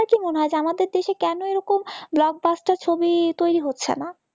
আপনার কি মনে হয় যে আমাদের দেশে কেন এরকম blockbuster ছবি তৈরি হচ্ছে না?